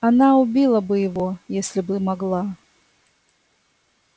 она убила бы его если бы могла